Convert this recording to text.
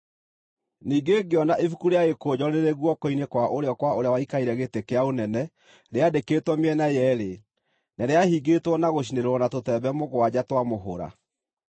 Ningĩ ngĩona ibuku rĩa gĩkũnjo rĩrĩ guoko-inĩ kwa ũrĩo kwa ũrĩa waikarĩire gĩtĩ kĩa ũnene rĩandĩkĩtwo mĩena yeerĩ, na rĩahingĩtwo na gũcinĩrĩrwo na tũtembe mũgwanja twa mũhũra.